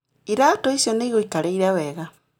Iraatũ icio nĩ igũikarĩire wega